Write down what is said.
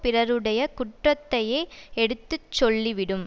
பிறருடைய குற்றத்தையே எடுத்து சொல்லிவிடும்